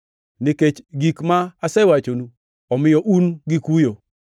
Nikech gik ma asewachonu, omiyo un gi kuyo.